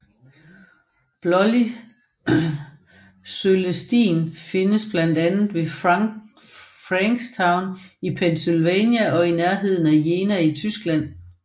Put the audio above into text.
Blålig Cølestin findes blandt andet ved Frankstown i Pennsylvania og i nærheden af Jena i Tyskland